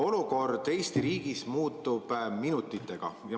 Olukord Eesti riigis muutub minutitega.